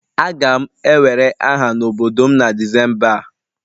Aga m ewere aha n'obodo m na Disemba a